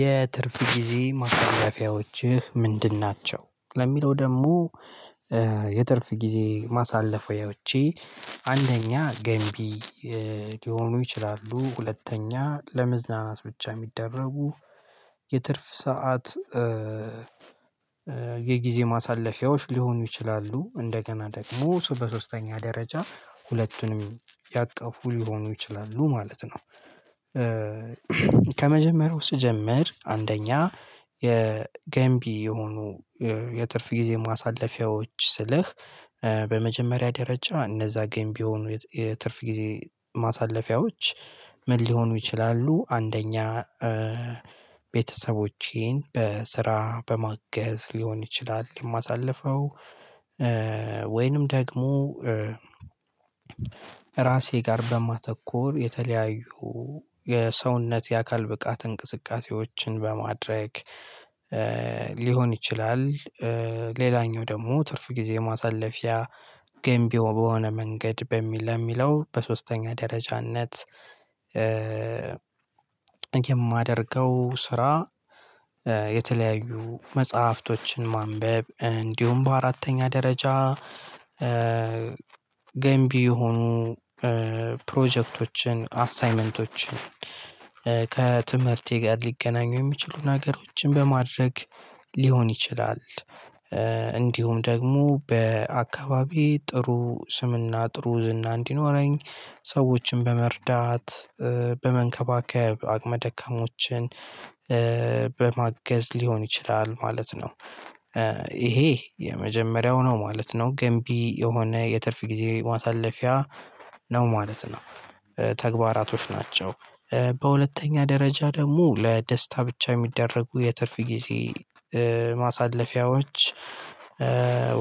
የትርፍ ጊዜ ማሳለፊያዎችህ ምንድን ናቸው? ለሚለው ደግሞ። የትርፍ ጊዜ ማሳለፊያዎቼ አንደኛ ገንቢ ሊሆኑ ይችላሉ ሁለተኛ ለመዝናናት ብቻ የሚደረጉ የትርፍ ሰዓት የጊዜ ማሳለፊያዎች ሊሆኑ ይችላሉ። እንደገና ደግሞ እሱ በሶስተኛ ደረጃ ሁለቱንም ያቀፉ ሊሆኑ ይችላሉ ማለት ነው። ከመጀመሪያው ስጀምር አንደኛ የገንቢ የሆኑ የትርፍ ጊዜ ማሳለፊያዎች ስልህ። በመጀመሪያ ደረጃ እነዛ ገንቢ የሆኑ የትርፍ ጊዜ ማሳለፊያዎች ምን ሊሆኑ ይችላሉ አንደኛ ቤተሰቦቼን በስራ በማገዝ ሊሆን ይችላል የማሳልፈው። ወይንም ደግሞ ራሴ ጋር በማተኮር የተለያዩ የሰውነት የአካል ብቃት እንቅስቃሴዎችን በማድረግ ሊሆን ይችላል። ሌላኛው ደግሞ ትርፍ ጊዜ ማሳለፊያ ገንቢው በሆነ መንገድ በሚል ለሚለው በሶስተኛ ደረጃነት የማደርገው ስራ የተለያዩ መጽሐፍቶችን ማንበብ እንዲሁም በአራተኛ ደረጃ ገንቢ የሆኑ ፕሮጀክቶችን አሳይመንቶችን ከትምህርቴ ጋር ሊገናኙ የሚችሉ ነገሮችን በማድረግ ሊሆን ይችላል። እንዲሁም ደግሞ በአካባቢ ጥሩ ስምና ጥሩ ዝና እንዲኖረኝ ሰዎችን በመርዳት በመንከባከብ አቅመ ደካማዎችን በማገዝ ሊሆን ይችላል ማለት ነው። ይሄ የመጀመሪያው ነው ማለት ነው ገንቢ የሆነ የትርፍ ጊዜ ማሳለፊያ ነው ማለት ነው። ተግባራቶች ናቸው በሁለተኛ ደረጃ ደግሞ ለደስታ ብቻ የሚደረጉ የትርፍ ጊዜ ማሳለፊያዎች።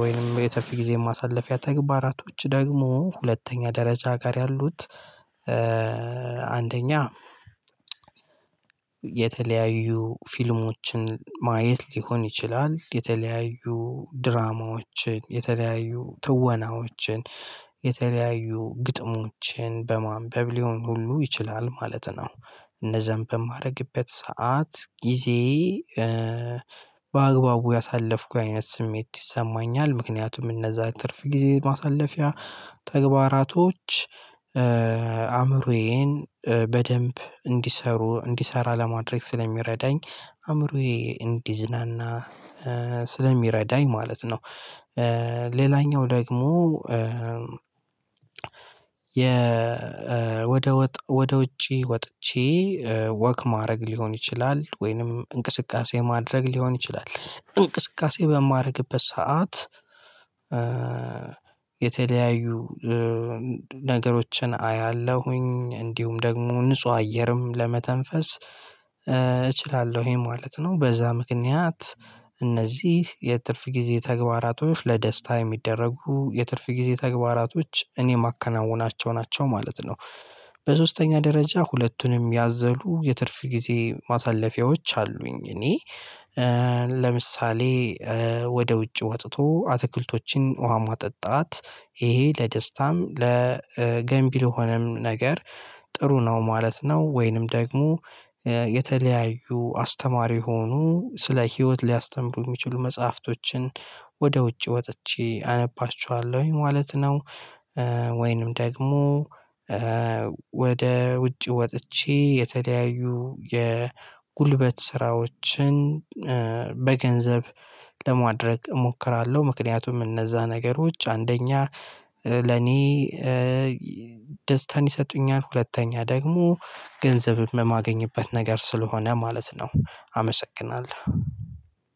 ወይንም የትርፍ ጊዜ ማሳለፊያ ተግባራቶች ደግሞ ሁለተኛ ደረጃ ጋር ያሉት አንደኛ የተለያዩ ፊልሞችን ማየት ሊሆን ይችላል የተለያዩ ድራማዎችን የተለያዩ ትወናዎችን የተለያዩ ግጥሞችን በማንበብ ሊሆን ሁሉ ይችላል ማለት ነው። እነዛን በማደርግበት ሰዓት ጊዜ በአግባቡ ያሳለፍኩ አይነት ስሜት ይሰማኛል ምክንያቱም እነዛ ትርፍ ጊዜ ማሳለፊያ ተግባራቶች አእምሮዬን በደንብ እንዲሰሩ እንዲሰራ ለማድረግ ስለሚረዳኝ አእምሮዬ እንዲዝናና ስለሚረዳኝ ማለት ነው። ሌላኛው ደግሞ የወደ ወጥ ወደ ውጪ ወጥቼ ወክ ማድረግ ሊሆን ይችላል ወይንም እንቅስቃሴ ማድረግ ሊሆን ይችላል እንቅስቃሴ በማረግበት ሰዓት የተለያዩ ነገሮችን አያለሁኝ እንዲሁም ደግሞ ንጹህ አየርም ለመተንፈስ እችላለሁኝ ማለት ነው። በዛ ምክንያት እነዚህ የትርፍ ጊዜ ተግባራቶች ለደስታ የሚደረጉ የትርፍ ጊዜ ተግባራቶች እኔ የማከናውናቸው ናቸው ማለት ነው። በሶስተኛ ደረጃ ሁለቱንም ያዘሉ የትርፍ ጊዜ ማሳለፊያዎች አሉኝ እኔ ለምሳሌ ወደ ውጭ ወጥቶ አትክልቶችን ውሃ ማጠጣት ይሄ ለደስታም ለገንቢ የሆነም ነገር ጥሩ ነው ማለት ነው። ወይንም ደግሞ የተለያዩ አስተማሪ የሆኑ ስለ ህይወት ሊያስተምሩ የሚችሉ መጽሐፍቶችን ወደ ውጪ ወጥቼ አነባቸዋለሁኝ ማለት ነው። ወይንም ደግሞ ወደ ውጭ ወጥቼ የተለያዩ የጉልበት ስራዎችን በገንዘብ ለማድረግ እሞክራለሁ ምክንያቱም እነዛ ነገሮች አንደኛ ለኔ ደስታን ይሰጡኛል ሁለተኛ ደግሞ ገንዘብ በማገኝበት ነገር ስለሆነ ማለት ነው። አመሰግናለሁ።